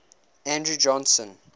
andrew johnson